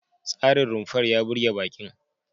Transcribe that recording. Tsarin rumfar ya burge baƙin.